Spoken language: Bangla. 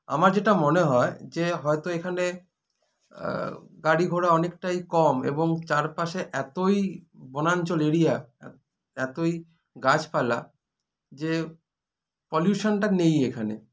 আমার যেটা মনে হয় যে হয়তো এখানে আ গাড়ি ঘোড়া অনেকটাই কম এবং চারপাশে এতই বনাঞ্চল area এতোই গাছপালা যে pollution -টা নেইই এখানে